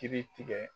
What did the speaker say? Kiri tigɛ